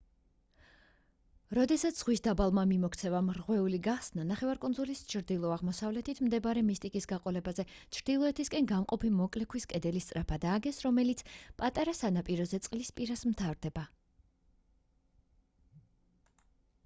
როდესაც ზღვის დაბალმა მიმოქცევამ რღვეული გახსნა ნახევარკუნძულის ჩრდილო-აღმოსავლეთით მდინარე მისტიკის გაყოლებაზე ჩრდილოეთისკენ გამყოფი მოკლე ქვის კედელი სწრაფად ააგეს რომელიც პატარა სანაპიროზე წყლის პირას მთავრდებოდა